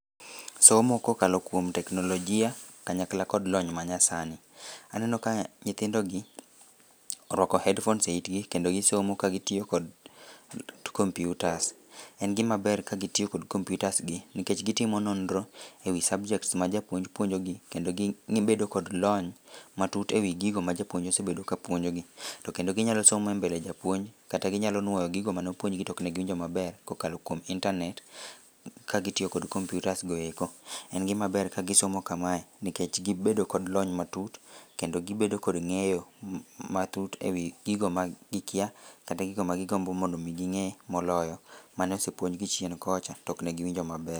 Somo kokalo kuom teknolojia kanyakla kod lony manyasani, aneno ka nyithindogi orwako headphones e itgi kendo gisomo kagitiyo kod computers, en gimaber ka gitiyo kod computers gi nikech gitimo nonro ewii subjects ma japuonj puonjogi kedo gibedo kod lony matut ewii gigo ma japuonj osebedo ka puonjogi, to kendo ginyalo somo e mbele japuonj kata ginyalo nuoyo gigo manopuonjgi to oknegiwinjo maber kokalo kuom internet ka gitiyo kod computers goeko en gimaber ka gisomo kamae nikech gibedo kod lony matut kendo gibedo kod ng'eyo matut ewii gigo ma gikya kata gigo ma gidwaro mondo ging'ee moloyo maneosepuonjgi chien kocha to oknegiwinjo maber